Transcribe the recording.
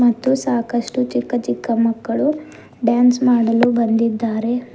ಮತ್ತು ಸಾಕಷ್ಟು ಚಿಕ್ಕ ಚಿಕ್ಕ ಮಕ್ಕಳು ಡ್ಯಾನ್ಸ್ ಮಾಡಲು ಬಂದಿದ್ದಾರೆ.